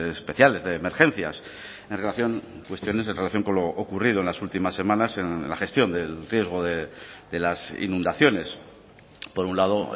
especiales de emergencias en relación cuestiones en relación con lo ocurrido en las últimas semanas en la gestión del riesgo de las inundaciones por un lado